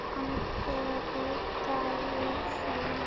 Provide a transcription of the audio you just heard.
Addi reddaði þeim.